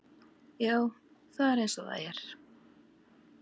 Já, það er eins og það er.